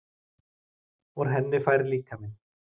Úr henni fær líkaminn